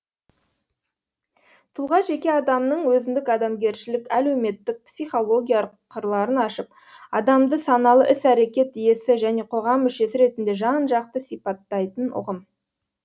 тұлға жеке адамның өзіндік адамгершілік әлеуметтік психологиялық қырларын ашып адамды саналы іс әрекет иесі және қоғам мушесі ретінде жан жақты сипаттайтын ұғым